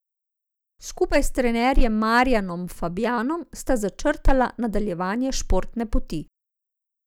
Skupaj s trenerjem Marjanom Fabjanom sta začrtala nadaljevanje športne poti.